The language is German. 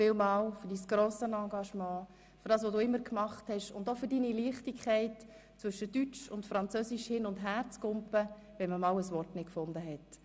Vielen Dank für dein grosses Engagement, für das, was du alles getan hast und auch für deine Leichtigkeit, zwischen dem Deutschen und dem Französischen hin und her zu springen, wenn man einmal ein Wort nicht gefunden hat.